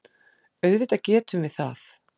Auðvitað getum við það.